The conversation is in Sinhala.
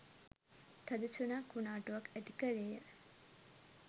තද සුළං කුණාටුවක් ඇති කළේය.